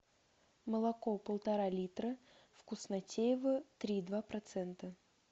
молоко полтора литра вкуснотеево три и два процента